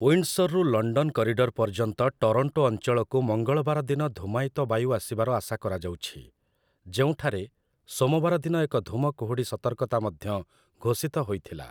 ୱିଣ୍ଡସର୍‌ରୁ London corridor ପର୍ଯ୍ୟନ୍ତ Toronto ଅଞ୍ଚଳକୁ ମଙ୍ଗଳବାର ଦିନ ଧୂମାୟିତ ବାୟୁ ଆସିବାର ଆଶା କରାଯାଉଛି, ଯେଉଁଠାରେ ସୋମବାର ଦିନ ଏକ ଧୂମକୁହୁଡି ସତର୍କତା ମଧ୍ୟ ଘୋଷିତ ହୋଇଥିଲା ।